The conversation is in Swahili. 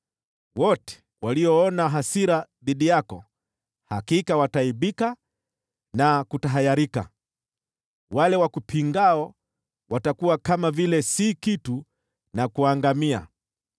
“Wote walioona hasira dhidi yako hakika wataaibika na kutahayarika, wale wakupingao watakuwa kama vile si kitu, na kuangamia.